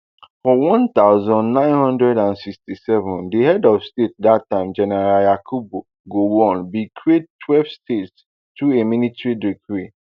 for one thousand, nine hundred and sixty-seven di head of state dat time general yakubu gowon bin create twelve states through a military decree